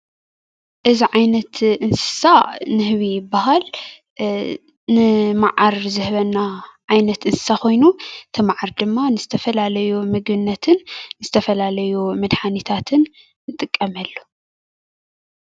እዚ ዓይነት እንስሳ ንህቢ ይበሃል፡፡ ንመዓር ዝህበና ዓይነት እንስሳ ኮይኑ እቲ መዓር ድማ ንተፈላለዩ ምግብነትን ዝተፈላለዩ መድሓኒታትን ንጥቀመሉ፡፡